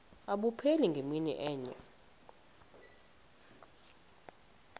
abupheli ngemini enye